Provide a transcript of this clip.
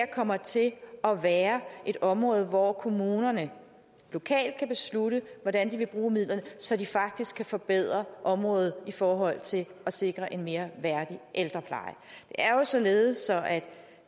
kommer til at være et område hvor kommunerne lokalt kan beslutte hvordan de vil bruge midlerne så de faktisk kan forbedre området i forhold til at sikre en mere værdig ældrepleje det er jo således at